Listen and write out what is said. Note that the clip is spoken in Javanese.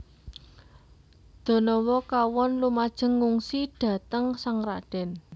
Danawa kawon lumajeng ngungsi dhateng sang radèn